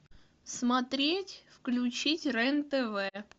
смотреть включить рен тв